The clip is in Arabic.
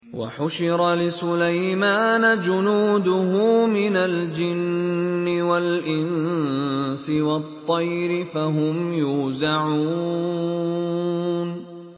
وَحُشِرَ لِسُلَيْمَانَ جُنُودُهُ مِنَ الْجِنِّ وَالْإِنسِ وَالطَّيْرِ فَهُمْ يُوزَعُونَ